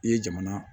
I ye jamana